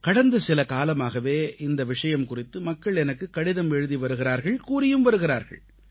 கடந்த சில காலமாகவே இந்த விஷயம் குறித்து மக்கள் எனக்குக் கடிதம் எழுதி வருகிறார்கள் கூறியும் வருகிறார்கள்